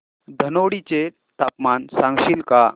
धनोडी चे तापमान सांगशील का